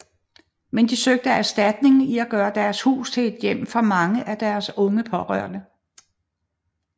Men de søgte erstatning i at gøre deres hus til et hjem for mange af deres unge pårørende